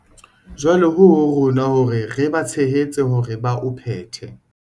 Jwale ho ho rona hore re ba tshehetse hore ba o phethe.